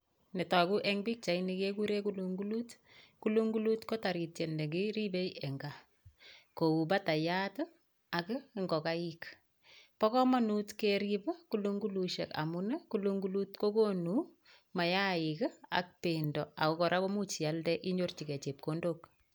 Netoguu en pichaini kekuren kulungkulut, kulungkulut ko taritiet nekiribei en gaa ko u batayat ak ingokaik. Bo komonut keerib kulungkulusiek amun kulungkulut kokonu mayaik ak bendoo. Ak kora koimuch ialdee inyorchigei chepkondook.